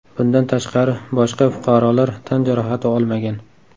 Bundan tashqari boshqa fuqarolar tan jarohati olmagan.